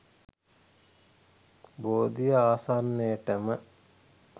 බෝධිය ආසන්නයටම